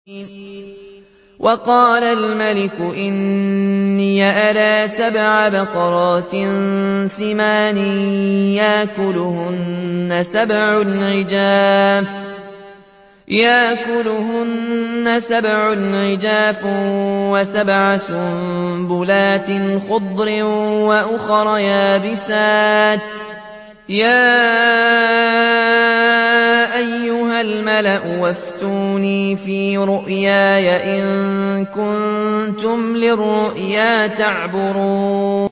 وَقَالَ الْمَلِكُ إِنِّي أَرَىٰ سَبْعَ بَقَرَاتٍ سِمَانٍ يَأْكُلُهُنَّ سَبْعٌ عِجَافٌ وَسَبْعَ سُنبُلَاتٍ خُضْرٍ وَأُخَرَ يَابِسَاتٍ ۖ يَا أَيُّهَا الْمَلَأُ أَفْتُونِي فِي رُؤْيَايَ إِن كُنتُمْ لِلرُّؤْيَا تَعْبُرُونَ